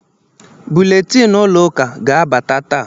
Buletin ụlọ ụka ga-abata taa.